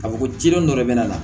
Ka fɔ ko jilen don dɔ de bɛna na